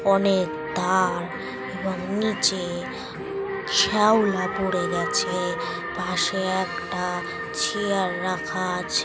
অনেক ধার এবং নিচে শ্যাওলা পড়ে গেছে পাশে একটা চেয়ার রাখা আছ--